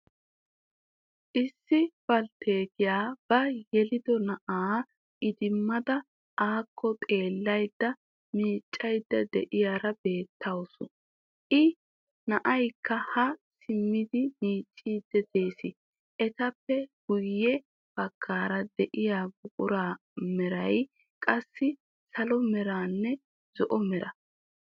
Issi balttetiyaa ba yelido na'aa idimada akko xeelaydda miiccayda de'iyaara beettawus. I na'aykka ha siimidi miiccidi de'ees. Etappe guyye baggaara de'yaa buquraa meray qassi salo meranne zo"o meraa.